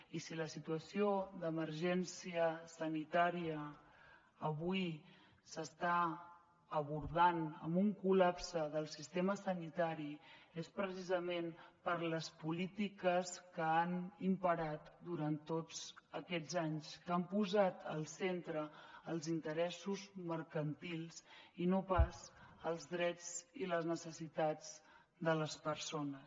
i si la situació d’emergència sanitària avui s’està abordant amb un col·lapse del sistema sanitari és precisament per les polítiques que han imperat durant tots aquests anys que han posat al centre els interessos mercantils i no pas els drets i les necessitats de les persones